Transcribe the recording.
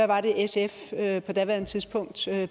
var sf på daværende tidspunkt